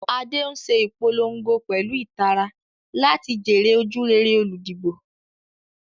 Ade ń ṣe ìpolongo pẹ̀lú ìtara láti jèrè ojúrere olùdìbò.